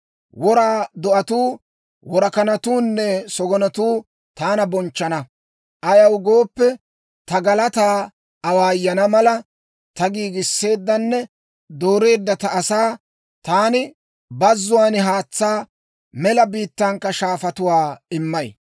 Wora do'atuu, worakanatuunne sagonatuu taana bonchchana. Ayaw gooppe, ta galataa awaayana mala, ta giigisseeddanne dooreedda ta asaw taani bazzuwaan haatsaa, mela biittankka shaafatuwaa immay.